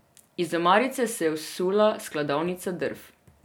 Iz omarice se je vsula skladovnica drv.